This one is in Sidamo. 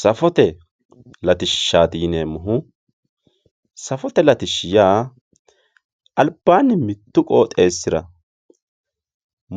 Safote latishshati yineemmohu ,safote latishshi yaa albaani mitu qooxxeesira